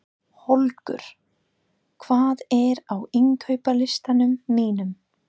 Holger, hvað er á innkaupalistanum mínum?